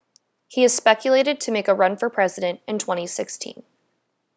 he is speculated to make a run for president in 2016